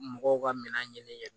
Mɔgɔw ka minɛn ɲini yɛrɛ